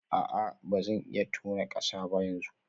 A'a ba zan iya tona kasa ba yanzu